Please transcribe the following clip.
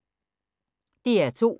DR2